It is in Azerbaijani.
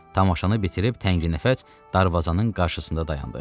Tamaşanı bitirib təngnəfəs darvazanın qarşısında dayandı.